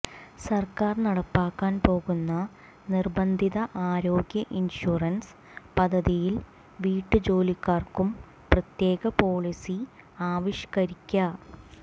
സർക്കാർ നടപ്പാക്കാൻ പോകുന്ന നിർബന്ധിത ആരോഗ്യ ഇൻഷുറൻസ് പദ്ധതിയിൽ വീട്ടുജോലിക്കാർക്കും പ്രത്യേക പോളിസി ആവിഷ്കരിക്ക